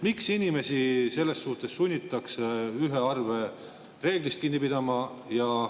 Miks inimesi selles suhtes sunnitakse ühe arve reeglist kinni pidama?